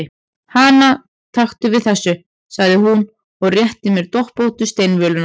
Hana, taktu við þessu, sagði hún og rétti mér doppóttu steinvöluna.